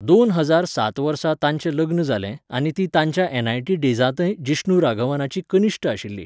दोन हजार सात वर्सा तांचें लग्न जालें आनी ती तांच्या एनआयटी डेजांतय जिष्णू राघवनाची कनिश्ट आशिल्ली.